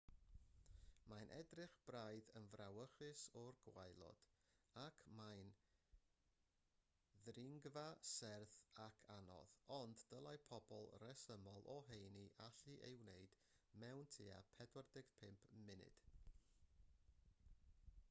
mae'n edrych braidd yn frawychus o'r gwaelod ac mae'n ddringfa serth ac anodd ond dylai pobl resymol o heini allu ei wneud mewn tua 45 munud